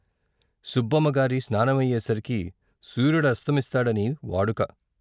సుబ్బమ్మ గారి స్నానమయ్యేసరికి సూర్యుడస్తమిస్తాడని వాడుక.